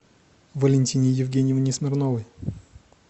валентине евгеньевне смирновой